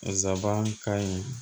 Zabankan ka ɲi